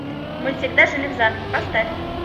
мы всегда жили в замке поставь